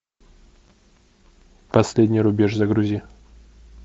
последний рубеж загрузи